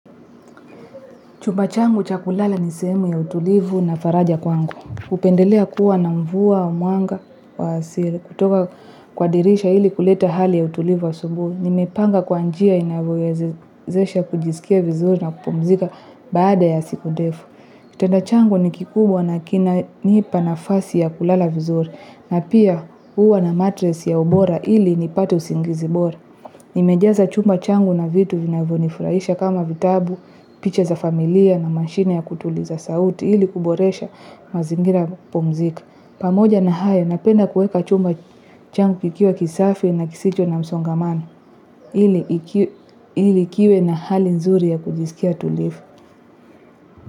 Chumba changu cha kulala ni sehemu ya utulivu na faraja kwangu. Hupendelea kuwa na mvua wa mwanga, wasile kutoka kwa dirisha ili kuleta hali ya utulivu wa asubuhi. Nimepanga kwa njia inavyowezesha kujisikia vizuri na kupumzika baada ya siku ndefu. Kitanda changu ni kikubwa na kinanipa nafasi ya kulala vizuri na pia huwa na matresi ya ubora ili nipate usingizi bora. Nimejaza chumba changu na vitu vinavyonifuraisha kama vitabu, picha za familia na mashine ya kutuliza sauti ili kuboresha mazingira ya kupumzika. Pamoja na hayo, napenda kuweka chumba changu kikiwa kisafi na kisicho na msongamano ili kikiwe na hali nzuri ya kujisikia tulifu.